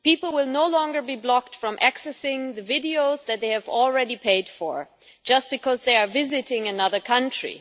People will no longer be blocked from accessing the videos that they have already paid for just because they are visiting another country.